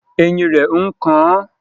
Eyín rẹ̀ ń kan àn